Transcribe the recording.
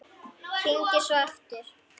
Hringi svo aftur.